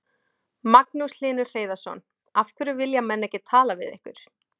Magnús Hlynur Hreiðarsson: Af hverju vilja menn ekki tala við ykkur?